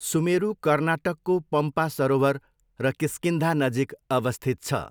सुमेरु कर्नाटकको पम्पा सरोवर र किष्किन्धा नजिक अवस्थित छ।